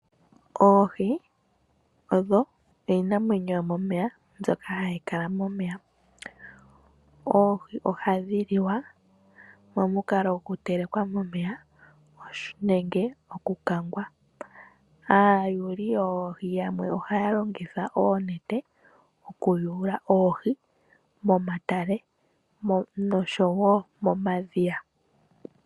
Oohi odho iinamwenyo yomomeya mbyoka hayi kala momeya. Oohi ohadhi liwa momukalo gokuteleka momeya, nenge okukangwa. Aayuli yoohi yamwe ohaya longitha oonete okuyula oohi momatale nosho wo momadhiya.